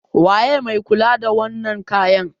waye mai kula da wannan kayan?